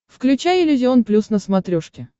включай иллюзион плюс на смотрешке